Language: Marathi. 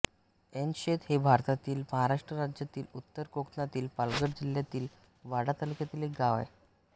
ऐनशेत हे भारतातील महाराष्ट्र राज्यातील उत्तर कोकणातील पालघर जिल्ह्यातील वाडा तालुक्यातील एक गाव आहे